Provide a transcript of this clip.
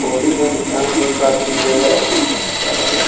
Hoarding है यहां पर शादी वियाह हो सकता है।